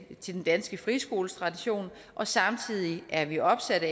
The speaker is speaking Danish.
til den danske friskoletradition og samtidig er vi opsatte